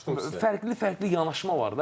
Bildim, başa düşdüm.